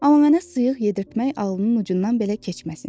Amma mənə sıyıq yedirtmək ağlının ucundan belə keçməsin.